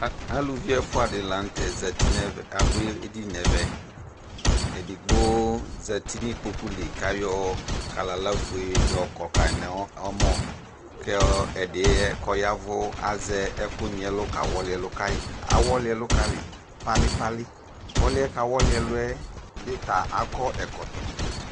A, aluvi ɛfua de lantɛ zati no ɛvɛ, ado edini no ɛvɛ Edigbo zati no ikpoku li ko ayɔ kalala fuɛ yɔkɔ kai no ɔmɔɔ ko ɛdeɛ kɔ yavu azɛ akunyiɛlu ka wɔle ɛlu kai Awɔle ɛlu kai palipali Ɔluɛ kaa wɔle aluɛ be ta akɔ ɛkɔtɔ